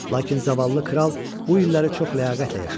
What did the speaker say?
Lakin zavallı kral bu illəri çox ləyaqətlə yaşadı.